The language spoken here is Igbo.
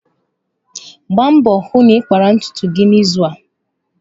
Gbaa mbọ hụ na ị kpara ntutu gị n'izu a.